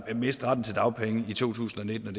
miste retten til dagpenge i to tusind og nitten